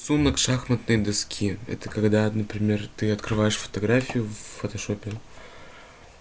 рисунок шахматной доски это когда например ты открываешь фотографию в фотошопе